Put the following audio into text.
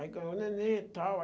Aí ganhou o neném e tal.